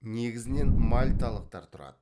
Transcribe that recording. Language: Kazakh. негізінен мальталықтар тұрады